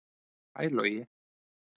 Hæ Logi